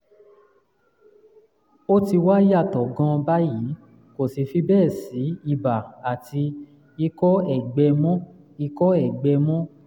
ó ti wá yàtọ̀ gan-an báyìí kò sì fi bẹ́ẹ̀ sí ibà àti ikọ́ ẹ̀gbẹ mọ́ ikọ́ ẹ̀gbẹ mọ́